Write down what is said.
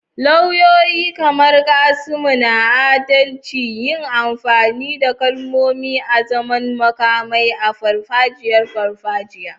Lauyoyi, kamar Knights na adalci, yi amfani da kalmomi azaman makamai a farfajiyar farfajiyar.